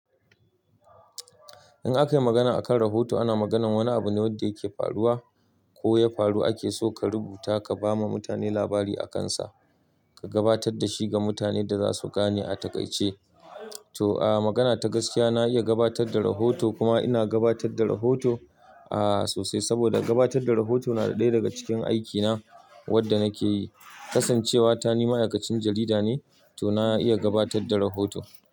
In akayi magana akan rahoto, ana maganar wani abune wanda yake faruwa koya faru. Akeso ka rubuta kabama mutane labari akansa, ka gabatar dashi ga mutane yanda zasu gane a takaice. To, a magana ta gaskiya, na iya gabatar da rahoto kuma ina gabatar da rahoto, a sosai. Saboda gabatarda rahoto na ɗaya daga cikin aikina, wanda nakeyi. Kasancewata ni ma'aikacin jarida ne, tona iya gabatar da rahoto.